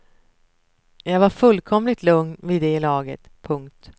Jag var fullkomligt lugn vid det laget. punkt